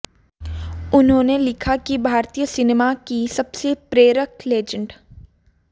उन्होंने लिखा कि भारतीय सिनेमा की सबसे प्रेरक लेजेंड